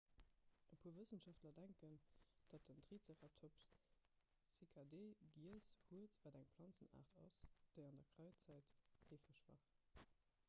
e puer wëssenschaftler denken datt den triceratops cycadee giess huet wat eng planzenaart ass déi an der kräidzäit heefeg war